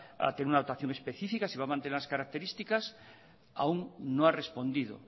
a tener una dotación específica si va mantener las características aún no ha respondido